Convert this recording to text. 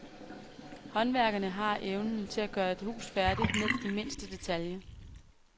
Håndværkerne har evnen til at gøre et hus færdigt ned i mindste detalje.